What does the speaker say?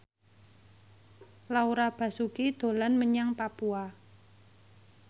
Laura Basuki dolan menyang Papua